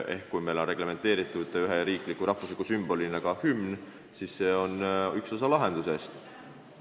Ehk kui meil on ühe riikliku ja rahvusliku sümbolina reglementeeritud ka hümn, siis on see üks osa lahendusest.